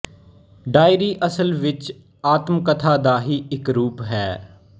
diary ਅਸਲ ਵਿੱਚ ਆਤਮਕਥਾ ਦਾ ਹੀ ਇੱਕ ਰੂਪ ਹੈ